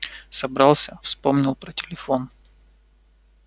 собрался вспомнил про телефон